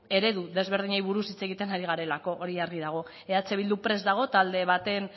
eredu desberdinei buruz hitz egiten ari garelako hori argi dago eh bildu prest dago talde baten